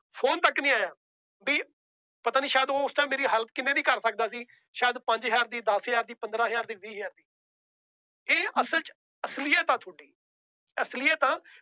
Phone ਤੱਕ ਨੀ ਆਇਆ ਵੀ ਪਤਾ ਨੀ ਸ਼ਾਇਦ ਉਸ time ਮੇਰੀ help ਕਿੰਨੇ ਦੀ ਕਰ ਸਕਦਾ ਸੀ ਸ਼ਾਇਦ ਪੰਜ ਹਜ਼ਾਰ ਦੀ, ਦਸ ਹਜ਼ਾਰ ਦੀ, ਪੰਦਰਾਂ ਹਜ਼ਾਰ ਦੀ, ਵੀਹ ਹਜ਼ਾਰ ਦੀ ਇਹ ਅਸਲ ਚ ਅਸਲੀਅਤ ਹੈ ਤੁਹਾਡੀ ਅਸਲੀਅਤ